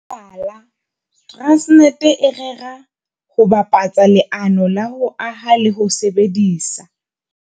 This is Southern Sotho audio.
Mohlala, Transnet e rera ho bapatsa leano la ho aha le ho sebedisa.